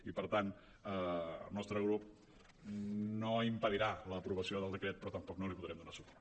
i per tant el nostre grup no impedirà l’aprovació del decret però tampoc no hi podrem donar suport